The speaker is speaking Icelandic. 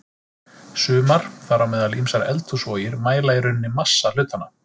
Sumar, þar á meðal ýmsar eldhúsvogir, mæla í rauninni massa hlutanna.